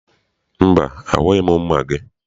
Mba, ahụghị m mma gị.